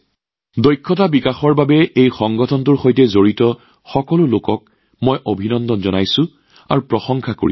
দক্ষতা বিকাশৰ বাবে এই সংস্থাটোৰ সৈতে জড়িত সকলো লোককে অভিনন্দন আৰু শলাগ লৈছো